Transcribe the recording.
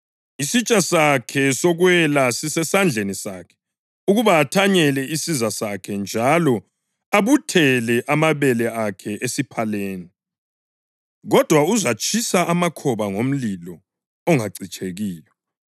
Isitsha sakhe sokwela sisesandleni sakhe ukuba athanyele isiza sakhe njalo abuthele amabele akhe esiphaleni, kodwa uzatshisa amakhoba ngomlilo ongacitshekiyo.”